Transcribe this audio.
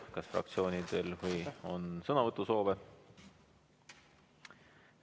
Kas fraktsioonidel on sõnavõtusoove?